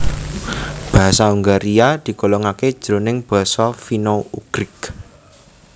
Basa Hongaria digolongaké jroning basa Finno Ugrik